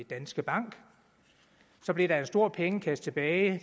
danske bank så blev der en stor pengekasse tilbage